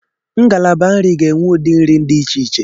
Ngalaba nri ga-enwe ụdị nri dị iche iche.